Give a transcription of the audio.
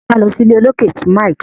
jé ká ló sí ìlé olokè tí Mike.